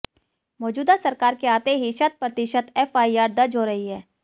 मौजूदा सरकार के आते ही शत प्रतिशत एफआईआर दर्ज हो रही हैं